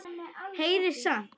Heyrir samt.